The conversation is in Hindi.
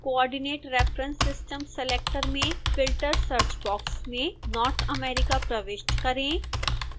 coordinate reference system selector में filter search box में north america प्रविष्ट करें